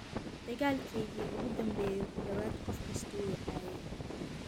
dagaalkiiygii ugu dambeeyay ku dhawaad ​​qof kastaa wuu i caayay.